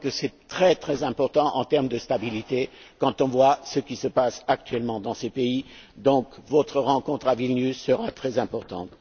Je crois que c'est très important en termes de stabilité, quand on voit ce qui se passe actuellement dans ces pays. Donc, votre rencontre à Vilnius sera très importante.